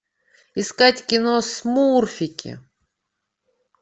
искать кино смурфики